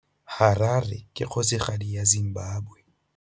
Harare ke kgosigadi ya Zimbabwe.